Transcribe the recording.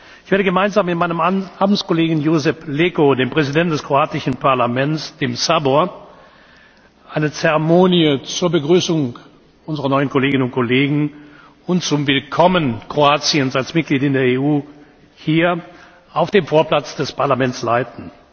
Ich werde gemeinsam mit meinem Amtskollegen Josip Leko, dem Präsidenten des kroatischen Parlaments, dem Sabor, eine Zeremonie zur Begrüßung unserer neuen Kolleginnen und Kollegen und zum Willkommen Kroatiens als Mitglied in der EU hier auf dem Vorplatz des Parlaments leiten.